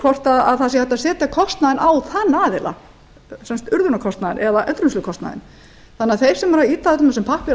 hvort það sé hægt að setja kostnaðinn á þá aðila urðunarkostnaðinn eða endurvinnslukostnaðinn þannig að þeir sem eru að ýta þessum pappír